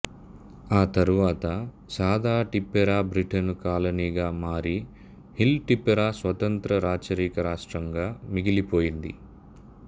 ఆ తరువాత సాదా టిప్పెరా బ్రిటను కాలనీగా మారి హిల్ టిప్పెరా స్వతంత్ర రాచరిక రాష్ట్రంగా మిగిలిపోయింది